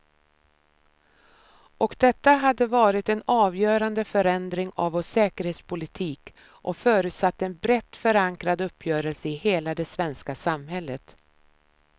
Och detta hade varit en avgörande förändring av vår säkerhetspolitik och förutsatt en brett förankrad uppgörelse i hela det svenska samhället.